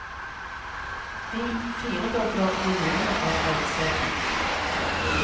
Vi firedobler volumet av reiser dit.